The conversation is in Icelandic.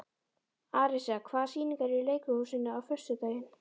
Arisa, hvaða sýningar eru í leikhúsinu á föstudaginn?